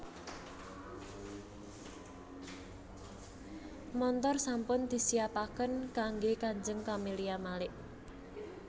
Montor sampun disiapaken kangge kanjeng Camelia Malik